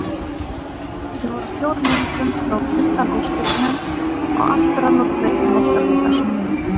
Við vorum fjórum mínútum frá undanúrslitunum og allt rann úr greipum okkar á þessum mínútum.